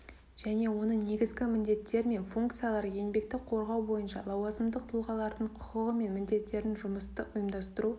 және оның негізгі міндеттері мен функциялары еңбекті қорғау бойынша лауазымдық тұлғалардың құқығы және міндеттері жұмысты ұйымдастыру